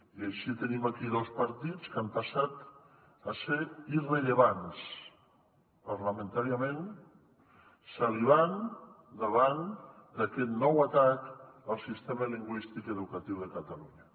i així tenim aquí dos partits que han passat a ser irrellevants parlamentàriament salivant davant d’aquest nou atac al sistema lingüístic educatiu de catalunya